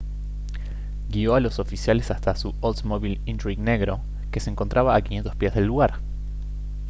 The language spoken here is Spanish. guio a los oficiales hasta su oldsmobile intrigue negro que se encontraba a 500 pies del lugar